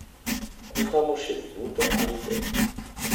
Kuhamo še minuto ali dve.